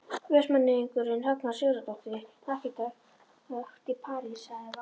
Vestmanneyingurinn Högna Sigurðardóttir arkitekt í París hafði valið.